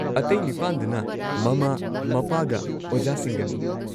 ꯑꯇꯩ ꯅꯤꯄꯥꯟꯗꯨꯅ ꯃꯃꯥ ꯃꯄꯥꯒ ꯑꯣꯖꯥꯁꯤꯡꯒꯅꯤ꯫